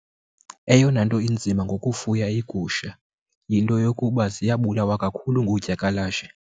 Eyona nto inzima ngokufuya iigusha yinto yokuba ziyabulawa kakhulu ngoodyakalashe.